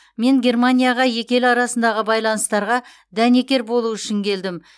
мен германияға екі ел арасындағы байланыстарға дәнекер болу үшін келдім